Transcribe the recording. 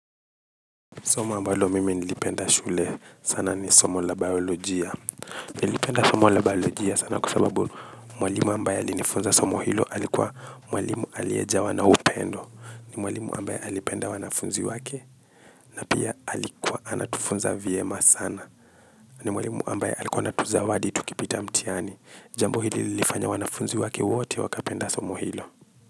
Soma ambalo mimi nilipenda shule sana ni somo la biolojia. Nilipenda somo la biolojia sana kwa sababu mwalimu ambaye alifunza somo hilo alikuwa mwalimu aliejawa na upendo. Ni mwalimu ambaye alipenda wanafunzi wake na pia alikuwa anatufunza vyema sana. Ni mwalimu ambaye alikua anatuzawadi tukipita mtiani. Jambo hili lifanya wanafunzi wake wote wakapenda somo hilo.